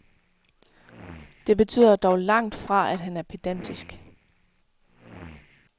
Det betyder dog langt fra at han er pedantisk.